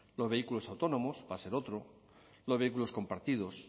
los vehículos autónomos va a ser otro los vehículos compartidos